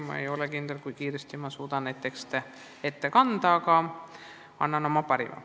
Ma ei tea, kui kiiresti ma suudan seda kõike ette kanda, aga annan oma parima.